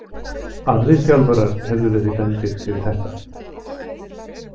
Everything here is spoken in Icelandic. Aðrir þjálfarar hefðu verið dæmdir fyrir þetta.